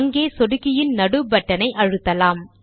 அங்கே சொடுக்கியின் நடு பட்டன் ஐ அழுத்தலாம்